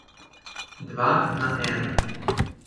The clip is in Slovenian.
Dva na ena.